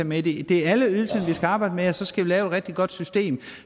med det er alle ydelserne vi skal arbejde med og så skal vi lave et rigtig godt system